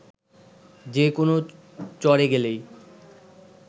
যে কোনো চরে গেলেই